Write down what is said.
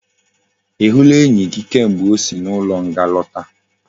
I hula enyi gi kamgbe osi na ulo nga lota?